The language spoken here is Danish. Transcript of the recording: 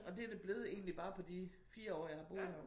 Og det det blevet egentlig bare på de 4 år jeg har boet her